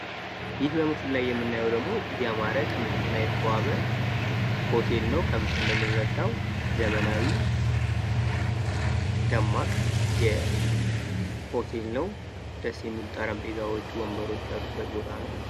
ይህ በምስሉ ላይ የምናዬው ደሞ እጅግ ያማረ ቅንጡና የተዋበ ሆቴል ነው። ከምስሉ እንደምንረዳው ዘመናዊ ደማቅ ሆቴል ነው። ደስ የሚሉ ጠረጴዛዎች ወንበሮች ያሉበት ቦታ ነው።